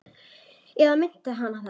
Eða minnti hana það?